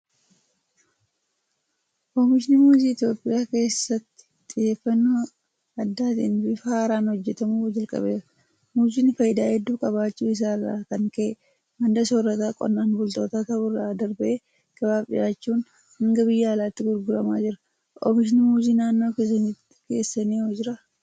Oomishni muuzii Itoophiyaa keessatti xiyyeeffannoo addaatiin bifa haaraan hojjetamuu jalqabeera. Muuziin faayidaa hedduu qabaachuu isaa irraa kan ka'e madda soorata qonnaan bultootaa ta'uu irra darbee gabaaf dhiyaachuun hanga biyya alaatti gurguramaa jira. Oomishni Muuzii naannoo keessanoo jiraa?